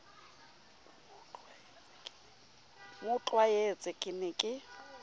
mo tlwaetse ke ne ke